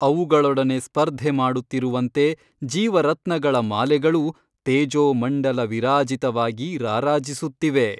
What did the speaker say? ಅವುಗಳೊಡನೆ ಸ್ಪರ್ಧೆ ಮಾಡುತ್ತಿರುವಂತೆ ಜೀವರತ್ನಗಳ ಮಾಲೆಗಳು ತೇಜೋಮಂಡಲ ವಿರಾಜಿತವಾಗಿ ರಾರಾಜಿಸುತ್ತಿವೆ.